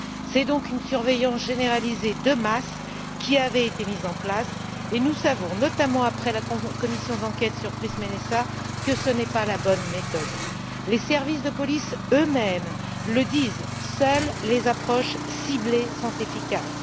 C'est donc une surveillance généralisée de masse qui avait été mise en place et nous savons, notamment après la commission d'enquête sur PRISM NSA, que ce n'est pas la bonne méthode. Les services de police eux mêmes le disent seules les approches ciblées sont efficaces.